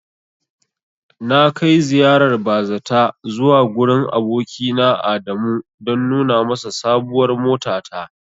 Na kai ziyarar bazata zuwa gurin abokina Adamu don nuna masa sabuwar motata.